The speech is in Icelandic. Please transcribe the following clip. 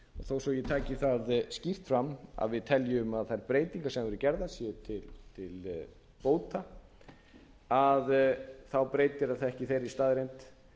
þó svo að ég taki það skýrt fram að við teljum að þær breytingar sem hafa verið gerðar séu til bóta að þá breytir það ekki þeirri staðreynd